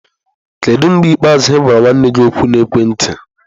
Kedu mgbe ikpeazụ ị gwara nwanne gị okwu na ekwentị?